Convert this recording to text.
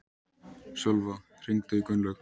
Sölva, hringdu í Gunnlaug.